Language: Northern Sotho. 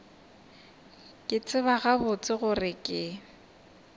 ke tseba gabotse gore ke